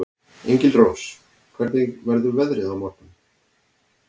Engilrós, hvernig verður veðrið á morgun?